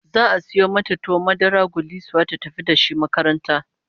Za'a sayo mata tuwon madarar gullisuwa ta tafi da shi makaranta